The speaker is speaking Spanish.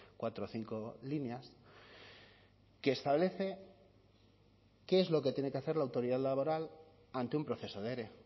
cuatro o cinco líneas que establece qué es lo que tiene que hacer la autoridad laboral ante un proceso de ere